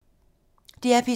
DR P2